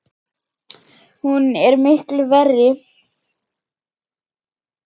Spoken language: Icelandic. Hún er miklu verri!